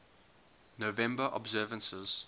november observances